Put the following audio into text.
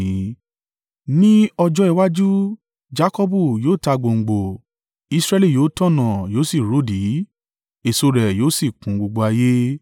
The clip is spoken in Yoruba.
Ní ọjọ́ iwájú Jakọbu yóò ta gbòǹgbò, Israẹli yóò tanná yóò sì rudi èso rẹ̀ yóò sì kún gbogbo ayé.